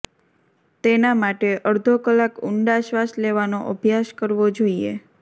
તેના માટે અડધો કલાક ઊંડા શ્વાસ લેવાનો અભ્યાસ કરવો જોઈએ